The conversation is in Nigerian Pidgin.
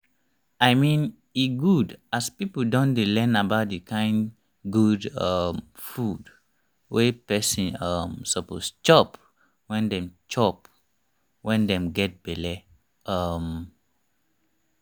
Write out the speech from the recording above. i mean e good as people don dey learn about the kind good um food wey person um suppose chop wen dem chop wen dem get belle um